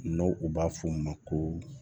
N'o u b'a fɔ o ma ko